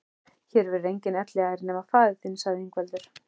Hér verður enginn elliær nema faðir þinn, sagði Ingveldur.